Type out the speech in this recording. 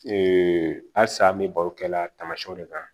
asa an be baro kɛla tamasiyɛnw de kan